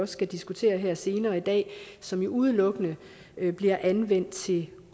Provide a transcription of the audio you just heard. skal diskutere her senere i dag som jo udelukkende bliver anvendt til